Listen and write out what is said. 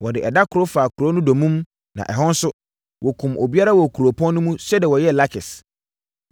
Wɔde ɛda koro faa kuro no dommum na ɛhɔ nso, wɔkumm obiara wɔ kuropɔn no mu sɛdeɛ wɔyɛɛ Lakis.